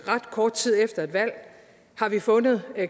ret kort tid efter et valg har vi fundet